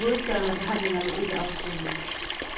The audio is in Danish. I hovedstaden er forhandlingerne ikke afsluttede.